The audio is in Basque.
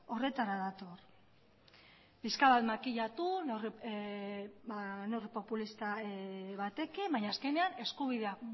horretara dator pixka bat makilatu neurri populista batekin baina azkenean eskubideak